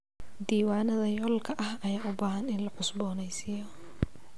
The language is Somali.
Diiwaanada yoolka ayaa u baahan in la cusboonaysiiyo.